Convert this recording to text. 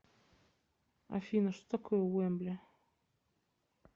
афина что такое уэмбли